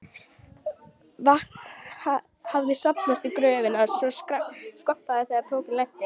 Vatn hafði safnast í gröfina svo skvampaði þegar pokinn lenti.